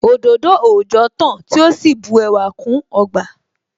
Òdòdó òòjọ́ tán tí ó sì bu ẹwà kún ọgbà